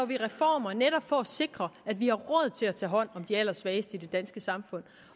vi reformer for at sikre at vi har råd til at tage hånd om de allersvageste i det danske samfund